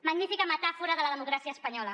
magnífica metàfora de la democràcia espanyola